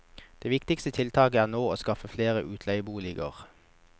Det viktigste tiltaket nå er å skaffe flere utleieboliger.